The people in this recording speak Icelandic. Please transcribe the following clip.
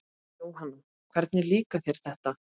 Jóhanna: Hvernig líkar þér þetta?